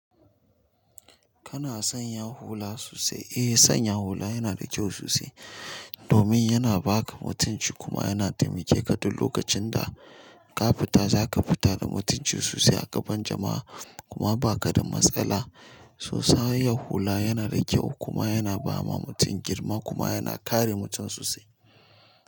Kana son ya hula sosai? Eh, sanya hula yana da ƙyau sosai domin yana ba ka mutunci kuma yana taimake ka duk lokacin da ka fita. Zaka fita da mutunci sosai a gaban jama'a kuma ba ka da matsala. Sanya hula yana da ƙyau kuma yana ba ma mutum girma kuma yana kare mutum sosai.